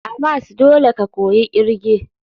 A mas dole ka koyi irge.